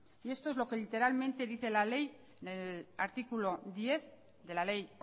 y esto es lo que literalmente dice la ley el artículo diez de la ley